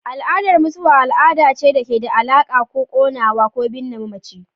Al'adar mutuwa al'ada ce da ke da alaƙa da konewa ko binne mamaci.